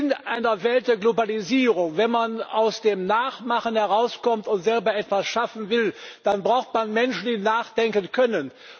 In einer Welt der Globalisierung, wenn man aus dem Nachmachen herauskommt und selber etwas schaffen will, dann braucht man Menschen, die nachdenken können.